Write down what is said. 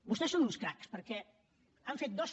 vostès són uns cracs perquè han fet dos